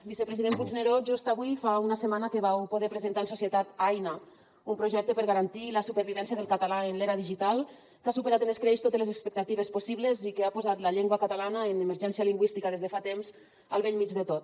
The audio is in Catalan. vicepresident puigneró just avui fa una setmana que vau poder presentar en societat aina un projecte per garantir la supervivència del català en l’era digital que ha superat amb escreix totes les expectatives possibles i que ha posat la llengua catalana en emergència lingüística des de fa temps al bell mig de tot